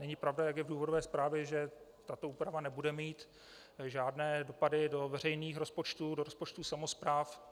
Není pravda, jak je v důvodové zprávě, že tato úprava nebude mít žádné dopady do veřejných rozpočtů, do rozpočtů samospráv.